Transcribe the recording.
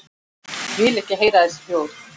Vil ekki heyra þessi hljóð.